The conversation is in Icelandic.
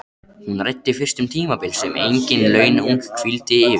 Hún ræddi fyrst um tímabil sem engin launung hvíldi yfir.